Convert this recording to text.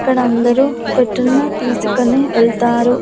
ఇక్కడ అందరూ పెట్టున్న తీసుకొని ఎల్తారు.